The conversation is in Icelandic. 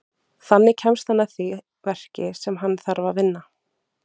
Þannig kemst hann að því verki sem hann þarf að vinna.